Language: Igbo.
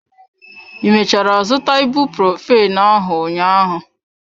I mechara zụta ibuprophen ahụ ụnyaahụ?